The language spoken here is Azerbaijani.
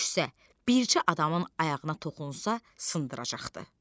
Düşsə, bircə adamın ayağına toxunsa sındıracaqdı.